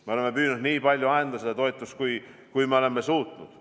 Me oleme püüdnud anda toetust nii palju, kui me oleme suutnud.